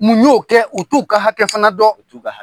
Mun y'o kɛ u t'u ka hakɛ fana dɔn u t'u ka hakɛ